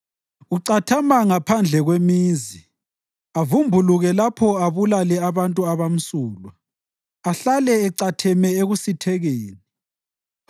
Ucathama ngaphandle kwemizi; avumbuluke lapho abulale abantu abamsulwa, ahlale ecatheme ekusithekeni.